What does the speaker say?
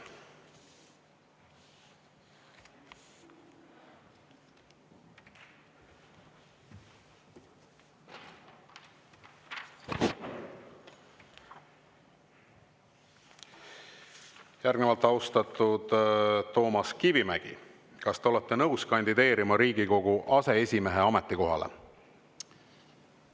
Järgnevalt, austatud Toomas Kivimägi, kas te olete nõus kandideerima Riigikogu aseesimehe ametikohale?